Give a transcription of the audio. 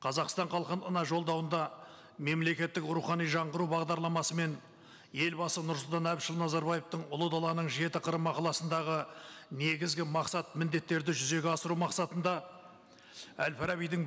қазақстан халқына жолдауында мемлекеттік рухани жаңғыру бағдарламасымен елбасы нұрсұлтан әбішұлы назарбаевтың ұлы даланың жеті қыры мақаласындағы негізгі мақсат міндеттерді жүзеге асыру мақсатында әл фарабидің